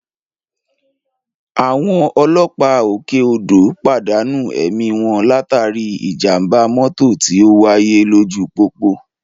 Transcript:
Àwọn ọlọ́pàá òkè odò pàdánù ẹ̀mí wọn látàrí ìjàmbá mọ́tò tí ó wáyé lójú pópó